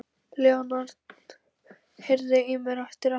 Leonhard, heyrðu í mér eftir áttatíu og fimm mínútur.